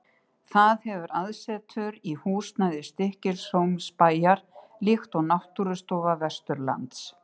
Það hefur aðsetur í húsnæði Stykkishólmsbæjar, líkt og Náttúrustofa Vesturlands.